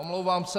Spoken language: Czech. Omlouvám se.